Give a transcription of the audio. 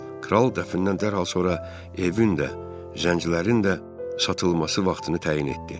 Kral dəfnindən dərhal sonra evin də, zəncilərin də satılması vaxtını təyin etdi.